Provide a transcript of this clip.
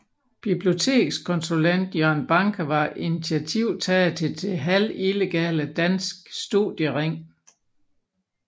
Bibliotekskonsulent Jørgen Banke var initiativtager til det halvillegale Dansk Studiering